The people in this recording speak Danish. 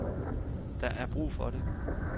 Der er brug for det.